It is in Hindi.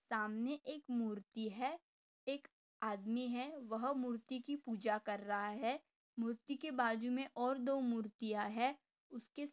सामने एक मूर्ति है। एक आदमी है वह मूर्ति की पूजा कर रहा है। मूर्ति के बाजू मे और दो मूर्तिया है। उसके--